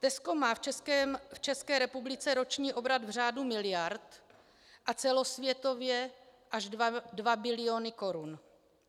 Tesco má v České republice roční obrat v řádu miliard a celosvětově až dva biliony korun.